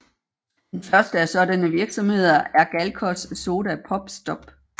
Den første af sådanne virksomheder er Galcos Soda Pop Stop